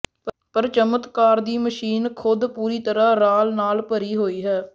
ਪਰ ਚਮਤਕਾਰ ਦੀ ਮਸ਼ੀਨ ਖੁਦ ਪੂਰੀ ਤਰ੍ਹਾਂ ਰਾਲ ਨਾਲ ਭਰੀ ਹੋਈ ਹੈ